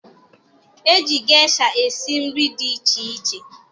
E ji gesha esi nri dị iche iche